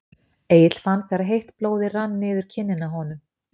Egill fann þegar heitt blóðið rann niður kinnina á honum.